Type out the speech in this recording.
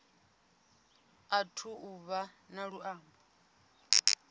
athu u vha na luambo